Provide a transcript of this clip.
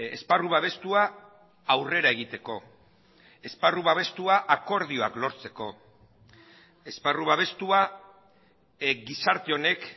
esparru babestua aurrera egiteko esparru babestua akordioak lortzeko esparru babestua gizarte honek